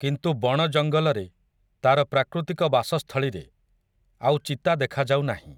କିନ୍ତୁ ବଣ ଜଙ୍ଗଲରେ, ତା'ର ପ୍ରାକୃତିକ ବାସସ୍ଥଳୀରେ, ଆଉ ଚିତା ଦେଖାଯାଉ ନାହିଁ ।